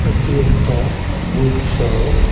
এটি একটা book shop .